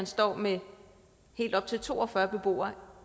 står med helt op til to og fyrre beboere